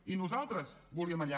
i nosaltres volíem allà